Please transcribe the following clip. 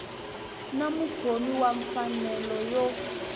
na mukhomi wa mfanelo yo